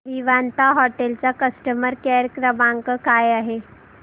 Vivanta hotel चा customer care क्रमांक काय आहे